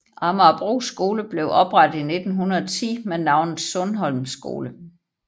Amagerbro skole blev oprettet i 1910 med navnet Sundholm Skole